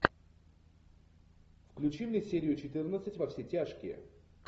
включи мне серию четырнадцать во все тяжкие